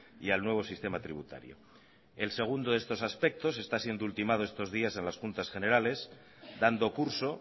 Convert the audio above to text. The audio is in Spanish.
y al nuevo sistema tributario el segundo de estos aspectos está siendo ultimado estos días en las juntas generales dando curso